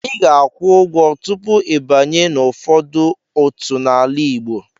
Ị ga-akwụ ụgwọ tupu ịbanye n'ụfọdụ otu n'ala Igbo.